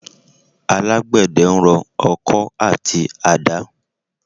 Àgbedẹ ń rọ ọkọ àti àdá.